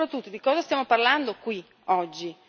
Ma, soprattutto, di cosa stiamo parlando qui, oggi?